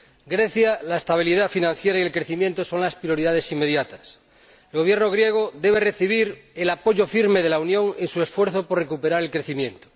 Grecia, la estabilidad financiera y el crecimiento son las prioridades inmediatas. El Gobierno griego debe recibir el apoyo firme de la Unión en su esfuerzo por recuperar el crecimiento.